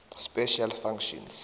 special functions